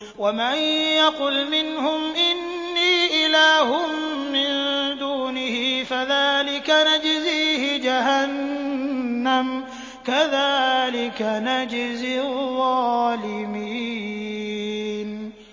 ۞ وَمَن يَقُلْ مِنْهُمْ إِنِّي إِلَٰهٌ مِّن دُونِهِ فَذَٰلِكَ نَجْزِيهِ جَهَنَّمَ ۚ كَذَٰلِكَ نَجْزِي الظَّالِمِينَ